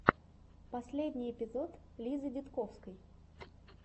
последний эпизод лизы дидковской